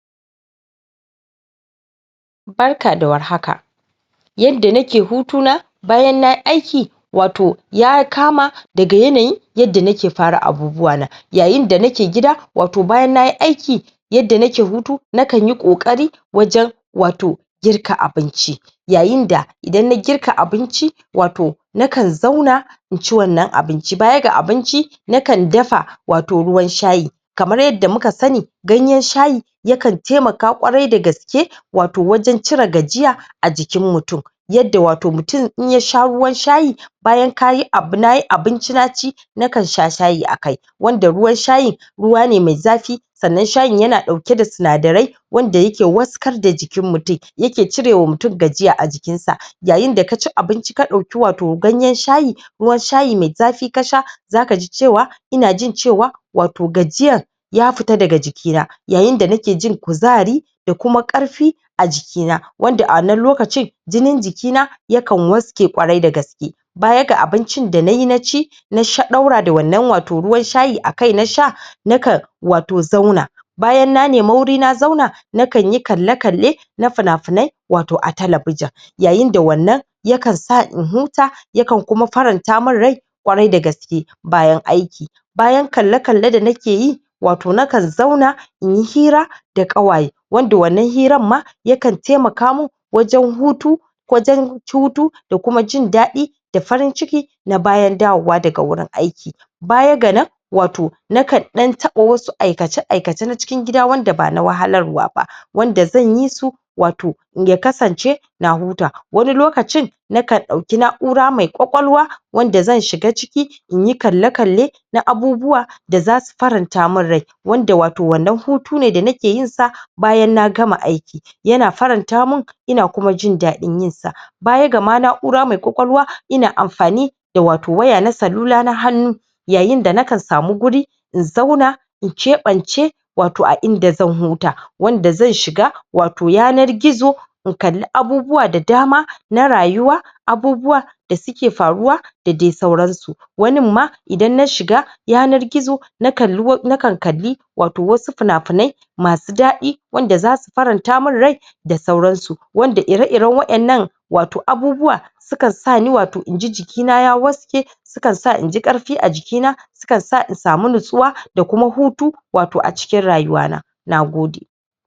Barka da warhaka Yadda nake hutuna bayan na yi aiki wato ya kama daga yanayin yadda nake fara abubuwa na yayin da nake gid wato bayan na yi aiki yadda nake hutu nakan yi ƙoƙari wajen wato girka abinci yayin da idan na girka abinci, wato nakan zauna in ci wannan abinci, baya ga abinci nakan dafa wato ruwan shayi kamar yadda muka sani ganyen shayi yakan taimaka kwarai da gaske wato wajen cire gajiya a jikin mutum yadda wato mutum, in ya sha ruwan shayi bayan na yi abinci na ci nakan sha shayi a kai wanda ruwan shayin ruwa ne mai zafi sannan shayin yana ɗauke da sinadarai wanda yake warkas da jikin mutum yake cirewa mutum gajiya a jikinsa yayin da ka ci abinci ka ɗauki wato ganyen shayi ruwan shayi mai zafi ka sha zaka ji cewa ina jin cewa wato gajiyar ya fita daga jikina yayin da nake jin kuzari kuma ƙarfi a jikina wanda a wannan lokacin jinin jikina yakan waske kwarai da gaske baya ga abincin da na yi na ci na ɗaura da wannan wato ruwan shayi a kai na sha nakan wato zauna bayan na nemi wuri na zauna nakan yi kalle-kalle na fina-finai wato a talabijin yayin da wannan yakan sa in huta yakan kuma faranta min rai kwarai da gaske bayan aiki Bayan kale-kalle da nake yi, wato nakan zauna in yi hira da ƙawaye wanda wannan hiran ma yakan taimaka min wajen hutu wajen hutu da kuma jin daɗi da farin ciki na bayan dawowa daga wurin aiki baya ga nan wato nakan ɗan taɓa wasu aikace-aikace na cikin gida wanda bana wahalarwa ba wanda zan yi su wato ya kasance na huta wani lokacin nakan ɗauki na’ura mai kwakwalwa wanda zan shiga ciki in yi kalle-kalle na abubuwa da zasu faranta min rai wanda wato wannan hutu ne da nake yin sa bayan na gama aiki yana faranta min ina kuma jin daɗin yin sa Baya ga ma na’ura mai kwakwalwa ina amfani da wato waya na salula na hannu yayin da nakan samu guri in zauna in keɓance wato a inda zan huta wanda zan shiga wato yanar gizo in kalli abubuwa da dama na rayuwa abubuwa da suke faruwa da dai sauransu wanin ma idan na shiga yanar gizo na kalli, nakan kalli wato wasu fina-finai masu daɗi wanda zasu faranta min rai da sauransu wanda ire-iren waɗannan wato abubuwa sukan sani wato in ji jikina ya waske sukan sa in ji ƙarfi a jikina sukan sa in samu natsuwa da kuma hutu wato a cikin rayuwana nagode